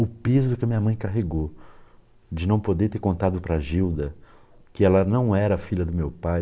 O peso que a minha mãe carregou de não poder ter contado para a Gilda que ela não era filha do meu pai.